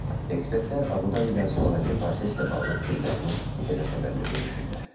Ekspertlər Abu Dabidən sonrakı proseslə bağlı fikirlərini ITV Xəbərlə bölüşüblər.